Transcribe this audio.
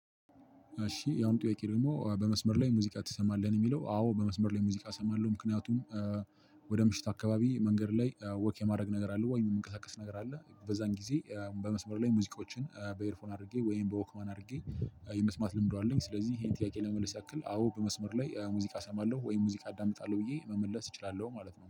እሺ! ያሁኑ ጥያቄ ደግሞ በመስመር ላይ ሙዚቃ ትሰማለህ? ነው የሚለው። አዎ! በመስመር ላይ ሙዚቃ እሰማለሁ ምክንያቱም ወደ ምሽት አካባቢ መንገድ ላይ ወክ የማድረግ ነገር አለ። ወይ የምንቀሳቀስ ነገር አለ በዛን ጊዜ በመስመር ላይ ሙዚቃዎችን በኤርፎን አድርጌ ወይም በወክማን አድርጌ የመስማት ልምዱ አለኝ። ስለዚህ ይሄን ጥያቄ ለመመለስ ያክል አዎ በመስመር ላይ ሙዚቃ እሰማለሁ። ወይም ሙዚቃ አዳምጣለሁ። ብዬ መመለስ እችላለሁ ማለት ነው።